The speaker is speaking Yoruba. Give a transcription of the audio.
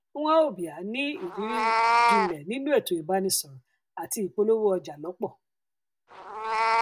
nwaobia ní irírí um jinlẹ nínú ètò ìbánisọrọ àti ìpolówó ọjà lọpọ